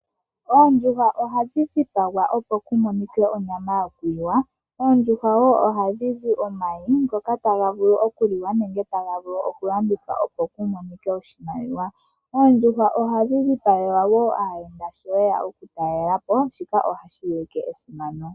Oondjuhwa ohadhi dhipagwa opo ku monike onyama yokuliwa. Oondjuhwa woo ohadhi zi omayi ngoka taga vulu okuliwa nenge taga vulu okulandithwa opo ku monike oshimaliwa. Oondjuhwa ohadhi dhipagelwa wo aayenda sho ye ya okutalela po. Shika ohashi ulike esimano.